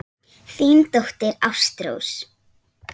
Þín dóttir, Ástrós.